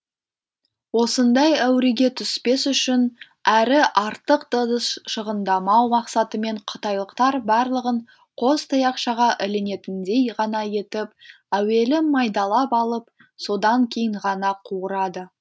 осындай әуреге түспес үшін әрі артық ыдыс шығындамау мақсатымен қытайлықтар барлығын қос таяқшаға ілінетіндей ғана етіп әуелі майдалап алып содан кейін ғана қуырады